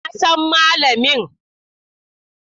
Na san malamin.